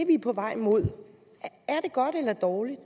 vi er på vej imod godt eller dårligt